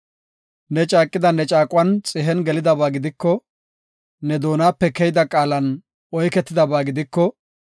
ne caaqida ne caaquwan xihen gelidaba gidiko, ne doonape keyida qaalan oyketidaba gidiko,